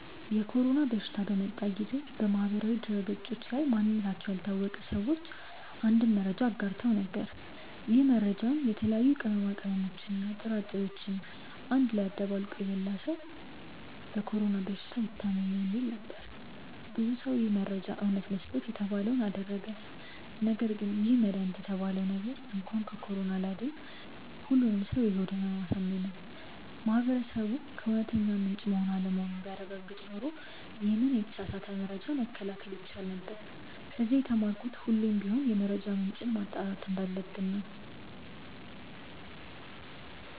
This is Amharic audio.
የኮሮና በሽታ በመጣ ጊዜ በማህበራዊ ድህረገጾች ላይ ማንነታቸው ያልታወቀ ሰዎች አንድ መረጃን አጋርተው ነበር። ይህ መረጃም የተለያዩ ቅመሞችን እና ጥራጥሬዎችን አንድ ላይ አደባልቆ የበላ ሰው በኮሮና በሽታ አይታምም የሚል ነበር። ብዙ ሰው ይህ መረጃ እውነት መስሎት የተባለውን አደረገ ነገርግን ይህ መድሃኒት የተባለው ነገር እንኳን ከኮሮና ሊያድን ሁሉንም ሰው የሆድ ህመም አሳመመ። ማህበረሰቡ ከእውነተኛ ምንጭ መሆን አለመሆኑን ቢያረጋግጥ ኖሮ ይሄንን የተሳሳተ መረጃ መከላከል ይቻል ነበር። ከዚ የተማርኩት ሁሌም ቢሆን የመረጃ ምንጭን ማጣራት እንዳለብን ነው።